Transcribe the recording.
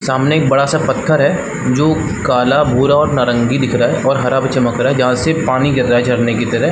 सामने बड़ा सा पत्थर है जो काला भूरा और नारंगी दिख रहा है और हरा भी चमक रहा है जहाँ से पानी गिर रहा है झरने की तरह --